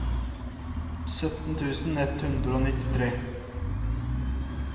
sytten tusen ett hundre og nittitre